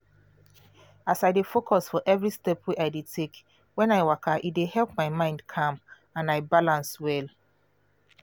as i dey focus for every step wey i dey take when i waka e dey help my mind calm and i balance well